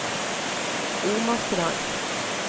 Omastrand